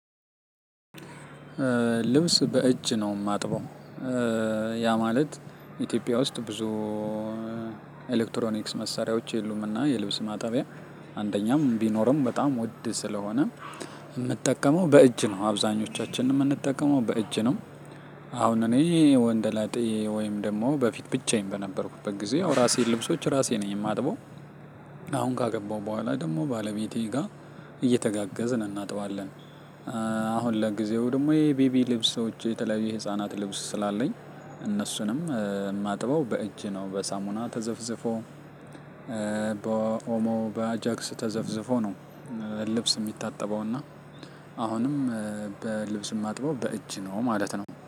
ልብስ በእጅ ነው የማጥበው። ያ ማለት ኢትዮጵያ ውስጥ ብዙ ኤሌክትሮኒክስ መሳሪያዎች የሉምና የልብስ ማጣቢያ አንደኛም ቢኖርም በጣም ውድ ስለሆነ የምጠቀመው በእጅ ነው አብዛኞቻችንም የምንጠቀመው በእጅ ነው። አሁን እኔ ወንደላጤ ወይም ደግሞ በፊት ብቻዬን በነበርኩበት ጊዜ አው የራሴን ልብሶች ራሴ ነኝ የማጥበው። አሁን ካገባው በኋላ ደግሞ ባለቤቴ ጋር እየተጋገዝን እናጥባለን። አሁን ለጊዜው ደግሞ የቤቢ ልብሶች የተለያዩ የህፃናት ልብስ ስላለኝ እነሱንም የማጥበው በእጅ ነው በሳሙና ተዘፍዝፎ በኦሞ በአጃክስ ተዘፍዝፎ ነው። ልብስ የሚታጠበው እና አሁንም በልብስ የማጥበው በእጅ ነው ማለት ነው